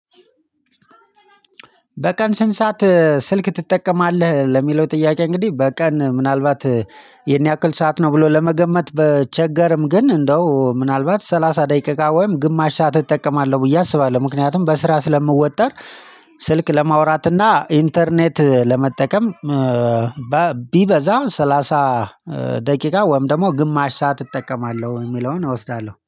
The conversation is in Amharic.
በቀን ስንት ሰዓት ስልክ ትጠቀማለህ? ለሚለው ጥያቄ እንግዲህ በቀን ምናልባት ይሄን ያክል ሰዓት ነው ብሎ ለመገመት በቸገርም ግን እንደው ምናልባት ሰላሳ ደቂቃ ወይም ግማሽ ሰዓት እጠቀማለሁ ብዬ አስባለሁ ምክንያቱም በስራ ስለምወጠር ስልክ ለማውራት እና ኢንተርኔት ለመጠቀም ቢበዛ ሰላሳ ደቂቃ ወይም ደግሞ ግማሽ ሰዓት እጠቀማለሁ የሚለውን እወስዳለሁ።